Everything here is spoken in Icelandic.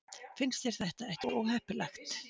Finnst þér þetta ekki óheppilegt?